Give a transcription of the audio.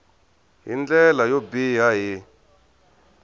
hi ndlela yo biha hi